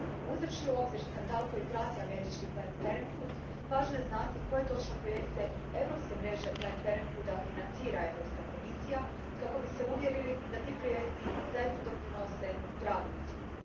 Uzevši u obzir skandal koji prati američki Planned Parenthood, važno je znati koje točno projekte europske mreže Planned Parenthooda financira Europska komisija kako bi se uvjerili da ti projekti zaista doprinose pravom cilju.